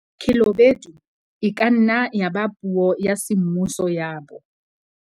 Khelobedu e ka nna ya eba puo ya semmuso ya bo.